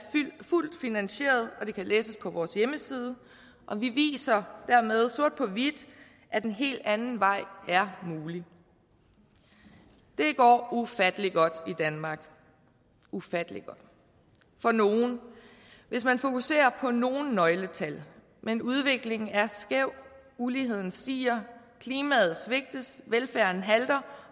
fuldt finansieret og det kan læses på vores hjemmeside vi viser dermed sort på hvidt at en helt anden vej er mulig det går ufattelig godt i danmark ufattelig godt for nogle og hvis man fokuserer på nogle nøgletal men udviklingen er skæv uligheden stiger klimaet svigtes velfærden halter